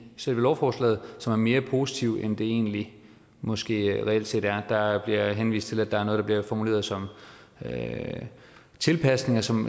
selve lovforslaget som er mere positiv end det egentlig måske reelt set er der bliver henvist til at der er noget der bliver formuleret som tilpasninger som